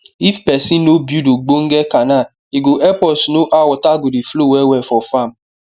if pesin no build ogbonge canal e go help us know how water go dey flow well well for farm